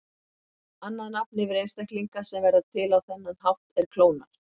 Annað nafn yfir einstaklinga sem verða til á þennan hátt er klónar.